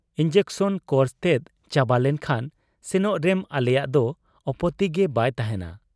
Injection course ᱛᱮᱫ ᱪᱟᱵᱟᱞᱮᱱ ᱠᱷᱟᱱ ᱥᱮᱱᱚᱜ ᱨᱮᱢ ᱟᱞᱮᱭᱟᱜ ᱫᱚ ᱟᱯᱚᱛᱤᱜᱮ ᱵᱟᱭ ᱛᱟᱦᱮᱸᱱᱟ ᱾'